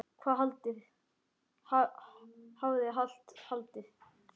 Hafði alltaf haldið.